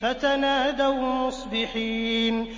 فَتَنَادَوْا مُصْبِحِينَ